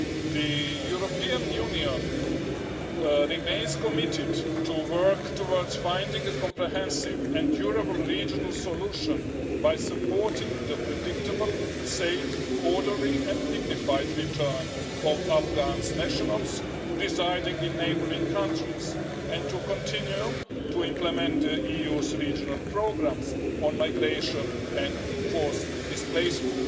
The European Union remains committed to working towards finding a comprehensive and durable regional solution by supporting the predictable, safe, orderly and dignified return of Afghan nationals residing in neighbouring countries and to continuing to implement the EU's regional programmes on migration and forced displacement.